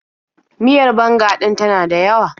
Miyar banga ɗin ta na dayawa.